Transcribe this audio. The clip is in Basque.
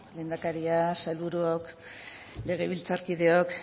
lehendakaria sailburuok legebiltzarkideok